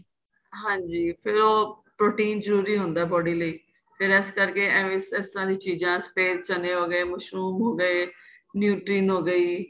ਹਾਂਜੀ ਫ਼ੇਰ ਉਹ protein ਜਰੂਰੀ ਹੁੰਦਾ body ਲਈ ਫ਼ੇਰ ਇਸ ਕਰਕੇ ਐਵੇ ਇਸ ਤਰ੍ਹਾਂ ਚੀਜ਼ਾਂ ਸਫ਼ੇਦ ਚੰਨੇ ਮਸ਼ਰੂਮ ਹੋ ਗਏ nutrition ਹੋ ਗਈ